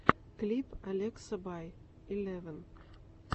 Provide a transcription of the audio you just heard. клип алекса бай илевн